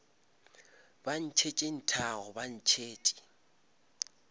ba ntšhetše nthago ba ntšhetše